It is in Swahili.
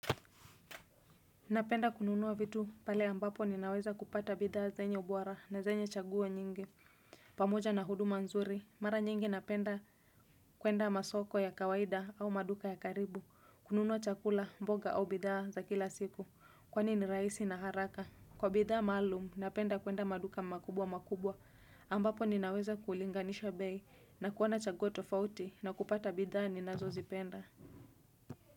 Napenda kununua vitu pale ambapo ninaweza kupata bidhaa zenye ubora na zenye chaguonyingi pamoja na huduma nzuri, mara nyingi napenda kuenda masoko ya kawaida au maduka ya karibu kununua chakula, mboga au bidhaa za kila siku, kwani ni raisi na haraka Kwa bidhaa maalum, napenda kuenda maduka makubwa makubwa ambapo ninaweza kulinganisho bei na kuwana chaguwa tofauti na kupata bidhaa ni nazo zipenda.